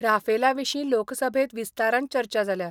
राफेला विशीं लोकसभेत विस्तारान चर्चा जाल्या.